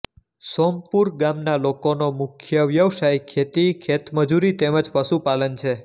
સોમપુર ગામના લોકોનો મુખ્ય વ્યવસાય ખેતી ખેતમજૂરી તેમ જ પશુપાલન છે